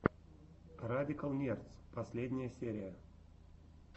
радикал нердс последняя серия